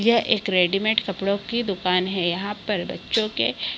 यह एक रेडीमेट कपड़ो की दुकान है यहाँ पर बच्चो के --